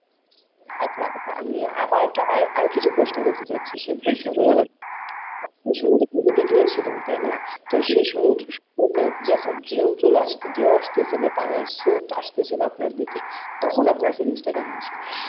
আচ্ছা আচ্ছা আমি আবার একটা আরো আরো কিছু প্রশ্ন করতে চাচ্ছি সমুদ্র সৈকতে গিয়েছিলেন তাই না? তো সে সমুদ্র সৈকতে যে এখন ঢেউ চলে আসছে ঢেউ আসতেছিল পানির স্রোত আসতেছিল আপনার দিকে তখন আপনার feelings টা কেমন ছিল?